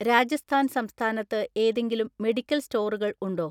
രാജസ്ഥാൻ സംസ്ഥാനത്ത് ഏതെങ്കിലും മെഡിക്കൽ സ്റ്റോറുകൾ ഉണ്ടോ?